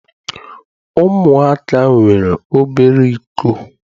Ụmụaka nwere obere iko.